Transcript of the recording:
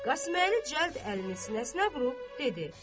Qasıməli cəld əlini sinəsinə vurub dedi: